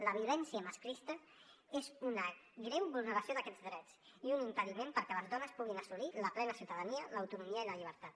la violència masclista és una greu vulneració d’aquests drets i un impediment perquè les dones puguin assolir la plena ciutadania l’autonomia i la llibertat